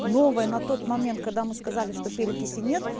новая на тот момент когда мы сказали что перекиси нет